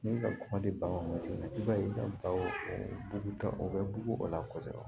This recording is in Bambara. Ne ka kuma tɛ ban wagati ma i b'a ye i ka balo o ta o bɛ bugu o la kosɛbɛ